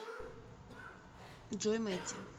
джой мэтти